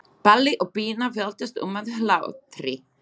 Palli og Pína veltast um af hlátri.